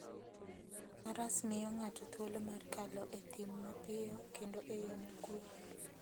Faras miyo ng'ato thuolo mar kalo e thim mapiyo kendo e yo mokuwe.